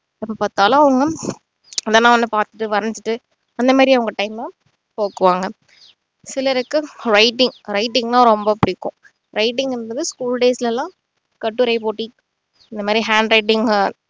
இப்போ தலை ஒண்ணும் எதன்னா ஒன்ன பாத்துட்டு வறைஞ்சிட்டு அந்தமாதிரி அவங்க time அ போக்குவாங்க சிலருக்கு writing writing னா ரொம்ப புடிக்கும் writing ன்றது school days ல எல்லாம் கட்டுரை போட்டி இந்த மாதிரி handwriting அஹ்